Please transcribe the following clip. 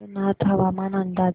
अंबरनाथ हवामान अंदाज